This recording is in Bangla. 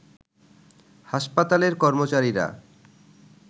হাসপাতালের কর্মচারীরা